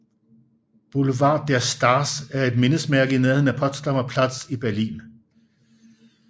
Boulevard der Stars er et mindesmærke i nærheden af Potsdamer Platz i Berlin